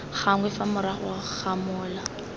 gangwe fa morago ga mola